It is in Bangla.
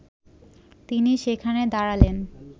তিনি সেখানে দাঁড়ালেন